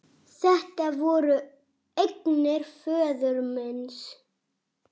Þetta voru eignir föður míns.